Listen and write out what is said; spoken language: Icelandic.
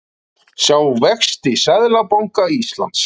Sjá vexti Seðlabanka Íslands